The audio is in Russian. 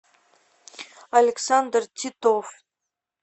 александр титов